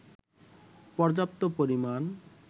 পর্যাপ্ত পরিমাণ